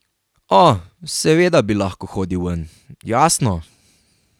O, seveda bi lahko hodil ven, jasno.